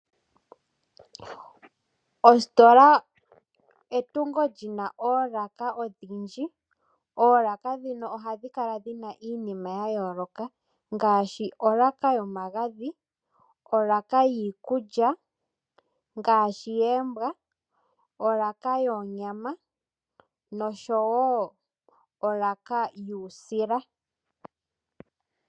Ositola etungo li na oolaka odhindji. Oolaka ndhino ohadhi kala dhi na iinima ya yooloka ngaashi, olaka yomagadhi, olaka yiikulya ngaashi yoombwa, olaka yoonyama nosho wo olaka yuusila.